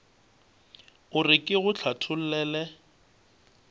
o re ke go hlathollele